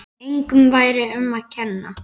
Engum væri um að kenna.